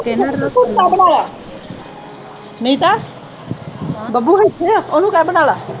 ਬੱਬੂ ਫੁਲਕਾ ਬਣਾ ਲੈ, ਨਹੀਂ ਤਾਂ ਬੱਬੂ ਇੱਥੇ ਹੈ ਉਹਨੂੰ ਕਹਿ ਬਣਾ ਲੈ